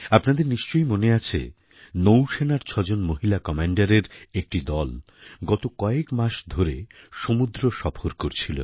আপনাদের নিশ্চয়ই মনে আছে নৌসেনার ছয়জন মহিলা কম্যাণ্ডারের একটি দল গত কয়েক মাস ধরে সমুদ্রসফর করছিল